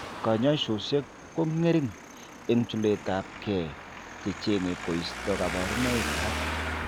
Kanyoisoshek ko ng'ering' eng' chuletab gee che cheng'e koisto kabarunoik alak.